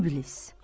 İblis.